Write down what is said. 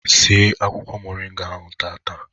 Sie akwụkwọ moringa ahụ tata!